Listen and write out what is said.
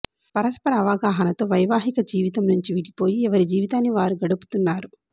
పరస్పర అవగాహనతో వైవాహిక జీవితం నుంచి విడిపోయి ఎవరి జీవితాన్ని వారు గడుపుతున్నారు